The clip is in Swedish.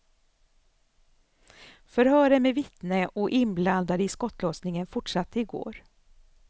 Förhören med vittnen och inblandade i skottlossningen fortsatte i går.